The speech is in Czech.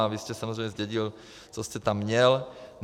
A vy jste samozřejmě zdědil, co jste tam měl.